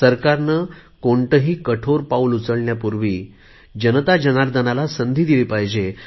सरकरने कोणतेही कठोर पाऊल उचलण्यापूर्वी जनता जनार्दनाला संधी दिली पाहिजे